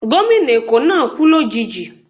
Gómìnà Eko náà kú lòjijì